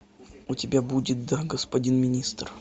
у тебя будет да господин министр